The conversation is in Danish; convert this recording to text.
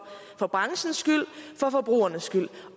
for branchens skyld for forbrugernes skyld